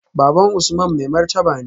Baban Usman mai martaba ne